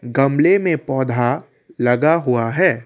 गमले में पौधा लगा हुआ है।